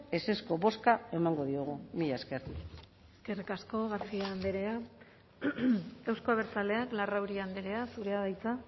ezezko bozka emango diogu mila esker eskerrik asko garcia andrea euzko abertzaleak larrauri andrea zurea da hitza